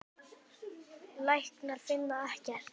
Læknar finna ekkert.